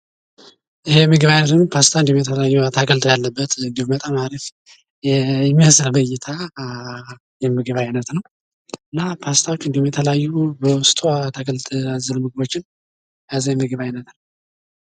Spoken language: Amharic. ይህ የምግብ አይነት እንግዲህ ፓስታ እንዲሁም የተለያዩ የምግብ አይነት ያሉበት እንዲሁም በጣም አሪፍ የሚመስል እይታ የምግብ አይነት ነው። እና ፓሥታ እንዲሁም የተለያዩ በውስጡ አትክልትን እንዲሁም የተለያእ ምግቦችን የያዘ የምግብ አይነት ነው።